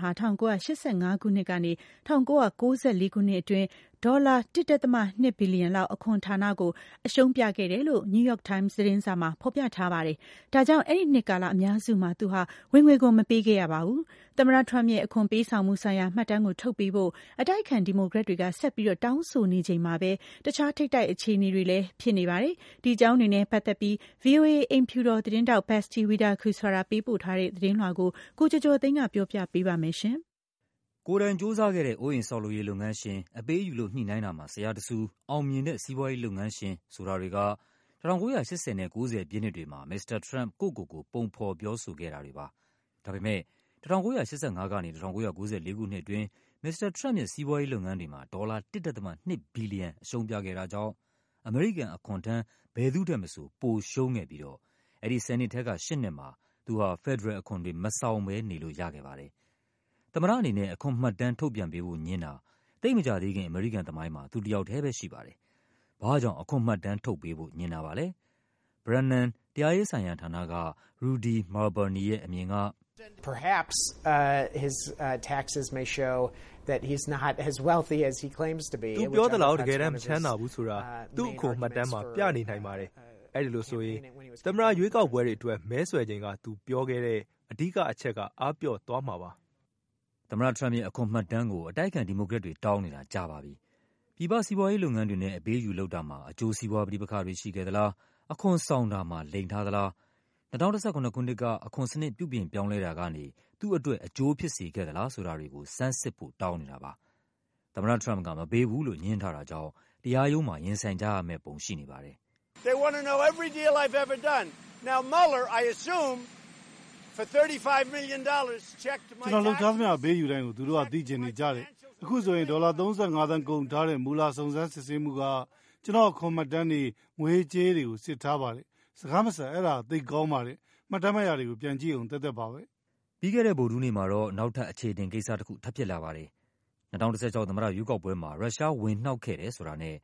ဟာ ၁၉၈၅ ခုနှစ်ကနေ ၁၉၉၄ ခုနှစ်အတွင်းဒေါ်လာ ၁.၂ ဘီလီယံ အခွန်ဌာန ကို အရှုံးပြခဲ့တယ်လို့ New York Times သတင်းစာမှာ ဖော်ပြထားပါတယ်။ အဲဒါကြောင့် အဲဒီနှစ်ကာလ အများစုမှာ သူဟာ ဝင်ငွေခွန် မပေးခဲ့ရပါဘူး။ မစ္စတာထရမ့်ပ်ရဲ့ အခွန်ပေးဆောင်မှုဆိုင်ရာမှတ်တမ်းကို ထုတ်ပေးဖို့ အတိုက်အခံ ဒီမိုကရက်တွေက ဆက်ပြီးတောင်းဆိုနေချိန်မှာပဲ တခြား ထိပ်တိုက်အခြေအနေတွေလည်း ဖြစ်နေပါတယ်။ ဒီအကြောင်းတွေနဲ့ပတ်သက်ပြီး ဗွီအိုအေ အိမ်ဖြူတော်သတင်းထောက် Patsy Widakuswara ပေးပို့ထားတဲ့သတင်းလွှာကို ကိုကျော်ကျော်သိန်းက ပြောပြပါမယ်။ ကိုယ်တိုင်ကြိုးစားခဲ့တဲ့ အိုးအိမ်ဆောက်လုပ်ရေး လုပ်ငန်းရှင်၊ အပေးအယူလုပ် ညှိနှိုင်းတာမှာ ဆရာတဆူ၊ အောင်မြင်တဲ့ စီးပွားရေးလုပ်ငန်းရှင် ဆိုတာတွေက ၁၉၈၀ နဲ့ ၉၀ ပြည့်နှစ်တွေမှာ မစ္စတာထရမ့်ပ် ကိုယ့်ကိုယ်ကို ပုံဖော်ပြောဆိုခဲ့တာတွေပါ။ ဒါပေမယ့် ၁၉၈၅ ကနေ ၁၉၉၄ ခုနှစ်အတွင်း မစ္စတာထရမ့်ပ်ရဲ့ စီးပွားရေးလုပ်ငန်းတွေမှာ ဒေါ်လာ ၁.၂ ဘီလီယံ အရှုံးပြခဲ့တာ ကြောင့် အမေရိကန်အခွန်ထမ်း ဘယ်သူ့ထက်မဆို ပိုရှုံးခဲ့ပြီးတော့ အဲဒီ ၁၀ နှစ်ထဲက ၈ နှစ်မှာ သူဟာ ဖက်ဒရယ်အခွန်တွေ မဆောင်ဘဲနေလို့ရခဲ့ပါတယ်။ သမ္မတအနေနဲ့ အခွန်မှတ်တမ်း ထုတ်ပြန်ပေးဖို့ငြင်းတာ သိပ်မကြာသေးခင် အမေရိကန် သမိုင်းမှာ သူတယောက်ထဲပဲရှိပါတယ်။ ဘာ့ကြောင့် အခွန်မှတ်တမ်းထုတ်ပေးဖို့ ငြင်း တာပါလဲ။ Brennan တရားရေးှဆိုင်ရာဌာနက Rudy Mehrbani ရဲ့အမြင်က “သူပြောသလောက် တကယ်တမ်း မချမ်းသာဘူးဆိုတာ သူ့အခွန်မှတ်တမ်းမှာ ပြနေနိုင် ပါတယ်။ အဲဒါဆိုရင် သမ္မတရွေးကောက်ပွဲအတွက် မဲဆွယ်ချိန်က သူပြောခဲ့တဲ့ အဓိက အချက် အားပျော့သွားမှာပါ။” သမ္မတထရမ့်ပ်ရဲ့ အခွန်မှတ်တမ်းကို အတိုက်အခံ ဒီမိုကရက်တွေ တောင်းနေတာကြာပါပြီ။ ပြည်ပစီးပွားရေးလုပ်ငန်းတွေနဲ့ အပေးအယူလုပ်တာမှာ အကျိုးစီးပွားပဋိပက္ခတွေ ရှိခဲ့ သလား၊ အခွန်ဆောင်တာမှာ လိမ်ထားသလား၊ ၂၀၁၇ ခုနှစ်က အခွန်စနစ် ပြုပြင် ပြောင်းလဲတာကနေ သူ့အတွက် အကျိုးဖြစ်စေခဲ့သလားဆိုတာတွေကို ဆန်းစစ်ဖို့ တောင်းနေတာပါ။ သမ္မတထရမ့်ပ်က မပေးဘူးလို့ ငြင်းထားတာကြောင့် တရားရုံးမှာ ရင်ဆိုင်ကြရမယ့်ပုံ ရှိနေပါတယ်။ “ကျနော်လုပ်ထားသမျှ အပေးအယူတိုင်းကို သူတို့က သိချင်နေကြတယ်။ အခုဆို ဒေါ်လာ ၃၅ သန်းကုန်ထားတဲ့ Mueller စုံစမ်းစစ်ဆေးမှုက ကျနော့် အခွန်မှတ်တမ်းတွေ၊ ငွေရေး ကြေးရေးတွေကို စစ်ထားပါတယ်။ စကား မစပ် အဲဒါက သိပ်ကောင်းပါတယ်။ မှတ်တမ်း မှတ်ရာတွေကို ပြန်ကြည့်ရုံသက်သက်ပါပဲ။” ပြီးခဲ့တဲ့ဗုဒ္ဓဟူးနေ့မှာတော့ နောက်ထပ်အခြေအတင်ကိစ္စတခု ထပ်ဖြစ်လာပါတယ်။ ၂၀၁၆ သမ္မတရွေးကောက်ပွဲမှာ ရုရှား ဝင် နှောက်ခဲ့တယ်ဆိုတာနဲ့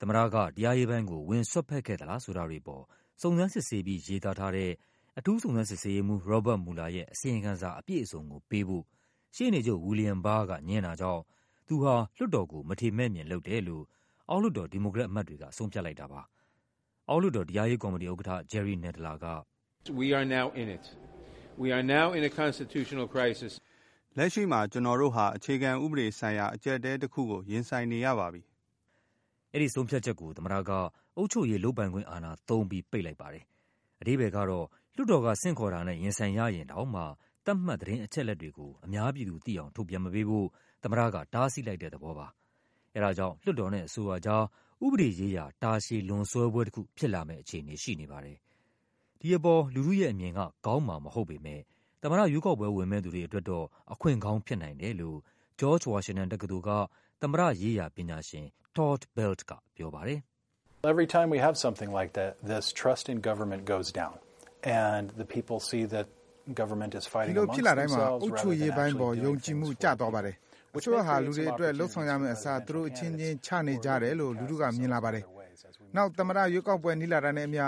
သမ္မတက တရားရေးပိုင်းကို ဝင်စွက်ဖက်ခဲ့သလားဆိုတာတွေအပေါ် စုံစမ်းစစ်ဆေးပြီး ရေးသားထားတဲ့ အထူးစုံစမ်း စစ်ဆေးရေးမှူး Robert Mueller ရဲ့ အစီရင်ခံစာအပြည့်အစုံကိုပေးဖို့ ရှေ့နေချုပ် William Barr က ငြင်းတာကြောင့် သူဟာ လွှတ်တော်ကို မထေမဲ့မြင်လုပ်တယ်လို့ အောက် လွှတ်တော် ဒီမိုကရက်အမတ်တွေက ဆုံးဖြတ်လိုက်တာပါ။ အောက်လွှတ်တော် တရားရေးကော်မတီဥက္ကဌ Jerry Nadler က “လက်ရှိမှာ ကျနော်တို့ဟာ အခြေခံဥပဒေဆိုင်ရာ အကျပ်အတည်းတခုကို ရင်ဆိုင်နေရ ပါပြီ။” အဲဒီဆုံးဖြတ်ချက်ကို သမ္မတက အုပ်ချုပ်ရေး လုပ်ပိုင်ခွင့်အာဏာသုံးပြီး ပိတ်လိုက်ပါတယ်။ အဓိပ္ပါယ်ကတော့ လွှတ်တော်က ဆင့်ခေါ်တာနဲ့ ရင်ဆိုင်ရရင်တောင်မှ သတ်မှတ် သတင်း အချက်အလက်တွေကို အများပြည်သူသိအောင် ထုတ်ပြန်မပေးဖို့ သမ္မတက တားဆီး လိုက် တဲ့ သဘောပါ။ အဲဒါကြောင့် လွှတ်တော်နဲ့အစိုးရကြား ဥပဒေရေးရာ တာရှည် လွန်ဆွဲပွဲတခု ဖြစ်လာမယ့် အခြေ အနေရှိနေပါတယ်။ ဒီအပေါ် လူထုရဲ့အမြင်က ကောင်းမှာမဟုတ်ပေမယ့် သမ္မတရွေးကောက်ပွဲဝင်မယ့်သူတွေ အတွက်တော့ အခွင့်ကောင်း ဖြစ်နိုင်တယ်လို့ ဂျော့ဂျ်ဝါရှင်တန်တက္ကသိုလ်က သမ္မတရေးရာ ပညာရှင် Todd Belt ကပြောပါတယ်။ “ဒီလိုမျိုးဖြစ်လာတိုင်းမှာ အုပ်ချုပ်ရေးပိုင်းပေါ် ယုံကြည်မှု ကျ သွားပါတယ်။ အစိုးရဟာ လူတွေ အတွက် လုပ်ဆောင်ရမယ့်အစား သူတို့အချင်းချင်း ချနေကြတယ်လို့ လူထုက မြင် လာပါတယ်။ နောက်သမ္မတရွေးကောက်ပွဲ နီးလာတာနဲ့အမျှ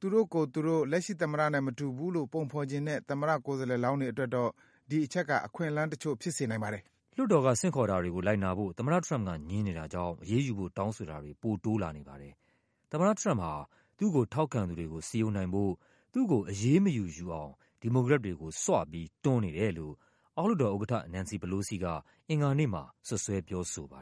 သူတို့ကိုယ်သူတို့ လက်ရှိ သမ္မတနဲ့မတူဘူးလို့ ပုံဖော်ချင်တဲ့ သမ္မတကိုယ်စားလှယ် လောင်းတွေအတွက်တော့ ဒီအချက်က အခွင့်အလန်းတချို့ဖြစ်စေနိုင်ပါတယ်။” လွှတ်တော်က ဆင့်ခေါ်တာတွေကို လိုက်နာဖို့ သမ္မတထရမ့်ပ်က ငြင်းနေတာကြောင့် အရေးယူဖို့ တောင်းဆိုတာတွေ ပိုတိုးလာ နေပါတယ်။ သမ္မတထရမ့်ပ်ဟာ သူ့ကို ထောက်ခံသူတွေကို စည်းရုံးနိုင်ဖို့ သူ့ကိုအရေးမယူ ယူအောင် ဒီမိုကရက်တွေကို ဆွပြီး တွန်းနေတယ်လို့ အောက်လွှတ်တော်ဥက္ကဌ Nancy Pelosi က အင်္ဂါနေ့မှာ စွပ်စွဲပြော ဆိုပါ